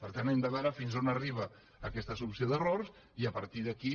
per tant hem de veure fins a on arriba aquesta solució d’errors i a partir d’aquí